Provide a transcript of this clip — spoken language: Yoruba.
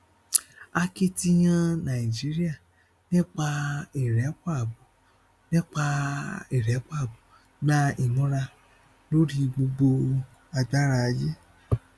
akitiyan nàìjíríà nípa ìrẹpọ abo nípa ìrẹpọ abo gba ìmúra lórí gbogbo agbára àgbáyé